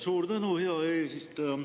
Suur tänu, hea eesistuja!